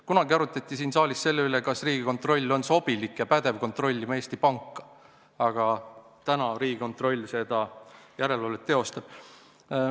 Kunagi arutati siin saalis selle üle, kas Riigikontroll on sobilik ja pädev kontrollima Eesti Panka, aga nüüd Riigikontroll seda järelevalvet teostab.